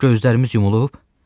Gözlərimiz yumulub.